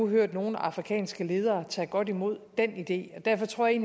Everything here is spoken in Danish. hørt nogle afrikanske ledere tage godt imod den idé derfor tror jeg